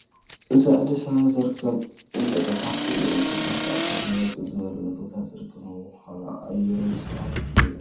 እዚ ኣዲስ ኣበባ ዝርከብ እንጦጠ ፓርክ እዩ፡፡ እዚ ፓርክ ካብ ከተማ ውፅእ ኣብ ዝበለ ቦታ ዝርከብ ብምዃኑ ኣየሩን ሰላሙን ፍሉይ እዩ፡፡